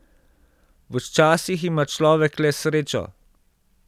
Včasih ima človek le srečo.